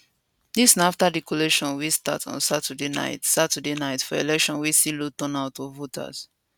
dis na afta di collation wey start on saturday night saturday night for election wey see low turn out of voters